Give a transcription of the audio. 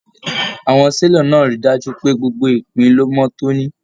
Àwọn selọ̀ náà rí dájú pé gbogbo ìpín ló mọ tóní.